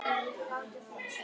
En nei, var ekki þannig.